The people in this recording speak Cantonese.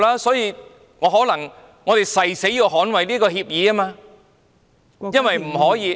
所以，我誓死捍衞這些協議，因為不可以......